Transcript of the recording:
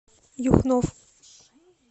юхнов